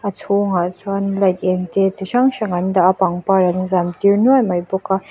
a chhungah chuan light êng te chi hrang hrang an dah a pangpar an zâm tir nuai mai bawk a.